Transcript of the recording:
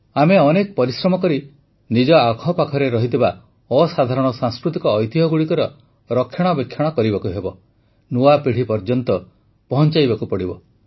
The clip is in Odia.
ଆମେ ବହୁତ ପରିଶ୍ରମ କରି ନିଜ ଆଖପାଖରେ ରହିଥିବା ଅସାଧାରଣ ସାଂସ୍କୃତିକ ଐତିହ୍ୟଗୁଡ଼ିକର ରକ୍ଷଣାବେକ୍ଷଣ କରିବାକୁ ହେବ ନୂଆ ପିଢ଼ି ପର୍ଯ୍ୟନ୍ତ ପହଞ୍ଚାଇବାକୁ ହେବ